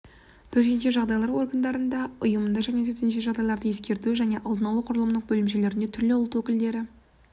төтенше жағдайлар органдарында ұйымында және төтенше жағдайларды ескерту және алдын алу құрылымдық бөлімшелерде түрлі ұлт өкілдері